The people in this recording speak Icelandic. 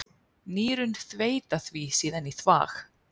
Nýrun þveita því síðan í þvag.